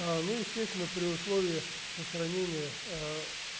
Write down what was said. ну естественно при условии устранения